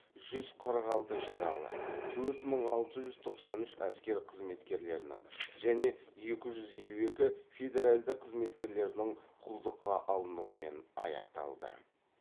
жүз қырық алты жаралы төрт мың алты жүз тоқсан үш әскер қызметкерлерінің және екі жүз елу екі федеральді қызметкерлердің құлдыққа алынумен аяқталды